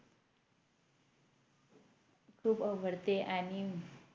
खूप आवडते आणि